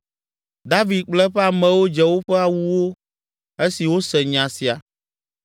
David kple eƒe amewo dze woƒe awuwo esi wose nya sia.